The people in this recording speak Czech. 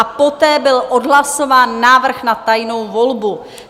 A poté byl odhlasován návrh na tajnou volbu.